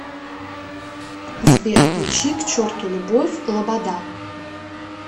сбер включи к черту любовь лобода